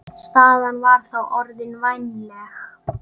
Staðan var þá orðin vænleg.